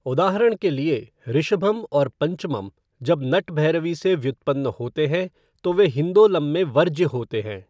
उदाहरण के लिए, ऋषभम् और पंचमम जब नटभैरवी से व्युत्पन्न होते हैं तो वे हिन्दोलम में वर्ज्य होते हैं।